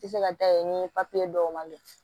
Tɛ se ka taa yen ni papiye dɔw man don